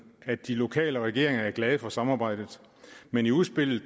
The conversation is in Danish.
at de lokale regeringer er glade for samarbejdet men i udspillet